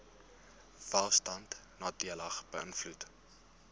welstand nadelig beïnvloed